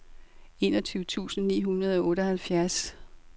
enogtyve tusind ni hundrede og otteoghalvfjerds